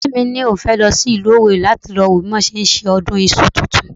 Ọ̀rẹ́ mi ni òun fẹ́ lọ sí ìlú owerri láti lọ wo bí wọ́n ti ń ṣe ọdún iṣu tuntun